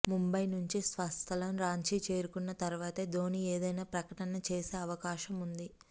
ముంబై నుంచి స్వస్థలం రాంచీ చేరుకున్న తర్వాతే ధోని ఏదైనా ప్రకటన చేసే అవకాశం ఉంది